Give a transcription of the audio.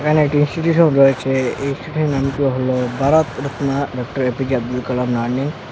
এখানে একটি ইনস্টিটিউশন রয়েছে এই ইনস্টিটিউশটির নাম হল Bharat Ratna doctor APJ Abdul Kalam learning.